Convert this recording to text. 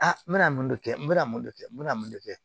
Aa n bɛna mun de kɛ n bɛna mun de kɛ n bɛna mun de kɛ